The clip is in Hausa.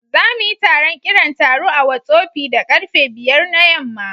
Za mu yi taron kiran taro a Whottsopi da karfe 5 na yamma